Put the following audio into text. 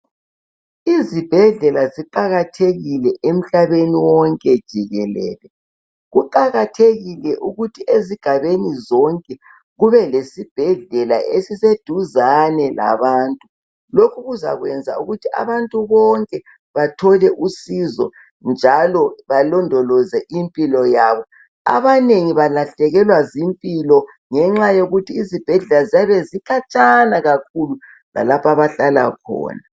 Izibhedlela ziqakathekile emhlabeni wonke jikelele. Kuqakathekile ukuthi ezigabeni zonke kube lesibhedlela esiseduzane labantu. Lokhu kuzakwenza ukuthi abantu bonke bathole usizo njalo balondoloze impilo yabo. Abanengi balahlekelwa zimpilo ngenxa yokuthi izibhedlela ziyabe zikhatshana kakhulu lalapho abahlala khona.